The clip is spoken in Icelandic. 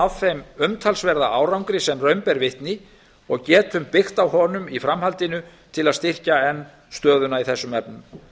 þeim umtalsverða árangri sem raun ber vitni og getum byggt á honum í framhaldinu til að styrkja enn stöðuna í þessum efnum